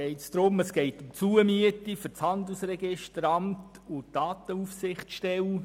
der BaK. Es geht um die Zumiete für das Handelsregisteramt und die Datenaufsichtsstelle.